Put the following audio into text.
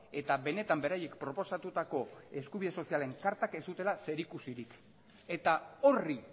eta benetan beraiek proposatutako eskubide sozialen kartak ez zutela zerikusirik eta horri